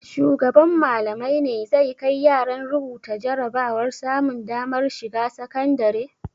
Shugaban Mallamai ne zai kai yaran rubuta jarabawar samun damar shiga sakandare?